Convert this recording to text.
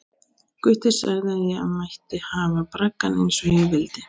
Gutti sagði að ég mætti hafa braggann eins og ég vildi.